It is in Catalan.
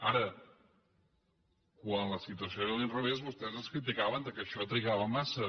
ara quan la situació era a l’inrevés vostès ens criticaven que això trigava massa